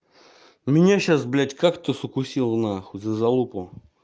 меня сейчас блядь кактус укусил нахуй за залупу